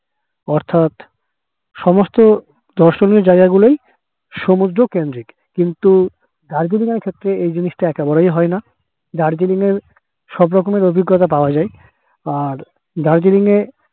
অর্থাৎ সমস্ত দর্শনীয় জায়গা গুলোই সমুদ্র কেন্দ্রিক কিন্তু দার্জিলিং এর ক্ষেত্রে এই জিনিস তা একেবারেই হয় না দার্জিলিং এ সব রকমের অভিজ্ঞতা পাওয়া যাই আর দার্জিলিং এ